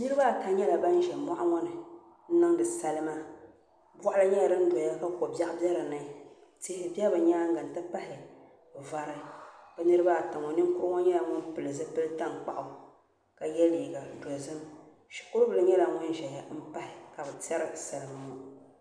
Niraba ata nyɛla bin ʒɛ moɣu ŋo ni n niŋdi salima boɣali nyɛla din doya ka ko biɛɣu do dinni tihi bɛ bi nyaanga m ti pahi vari bi niraba ata ŋo ninkurugu nyɛla ŋun pili zipili tankpaɣu ka yɛ liiga dozim shikuru bili nyɛla ŋun ʒɛya n pahi ka bi tiɛri bi salima ŋo